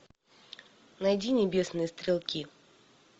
найди небесные стрелки